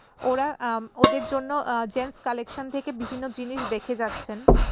ওরা আম ওদের জন্য আ জেন্স কালেকশন থেকে বিভিন্ন জিনিস দেখে যাচ্ছেন।